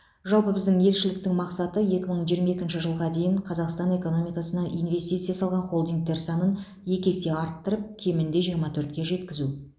жалпы біздің елшіліктің мақсаты екі мың жиырма екінші жылға дейін қазақстан экономикасына инвестиция салған холдингтер санын екі есе арттырып кемінде жиырма төртке жеткізу